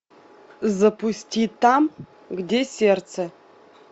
запусти там где сердце